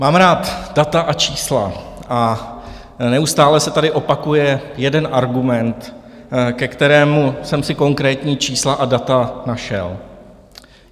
Mám rád data a čísla a neustále se tady opakuje jeden argument, ke kterému jsem si konkrétní čísla a data našel.